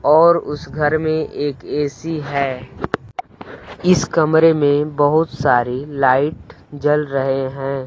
और उस घर में एक ए_सी है इस कमरे में बहोत सारी लाइट जल रहे हैं।